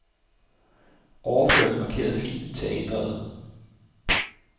Overfør den markerede fil til A-drevet.